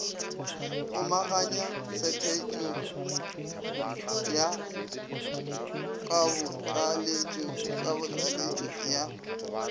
kgomaganya tshepetšo ya kabotlaleletši ya